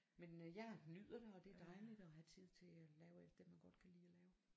Men øh jeg nyder den og det er dejligt og have tid til at lave alt det man godt kan lide at lave